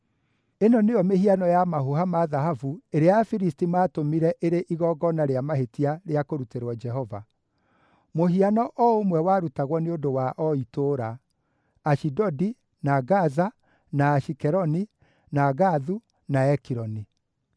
Ĩno nĩyo mĩhiano ya mahũha ma thahabu ĩrĩa Afilisti maatũmire ĩrĩ igongona rĩa mahĩtia rĩa kũrutĩrwo Jehova: Mũhiano o ũmwe warutagwo nĩ ũndũ wa o itũũra: Ashidodi, na Gaza, na Ashikeloni, na Gathu, na Ekironi.